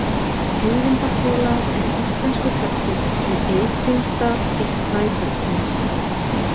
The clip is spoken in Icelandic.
Eyvindarhola er íslenskur hellir við Eysteinsdal í Snæfellsnesi.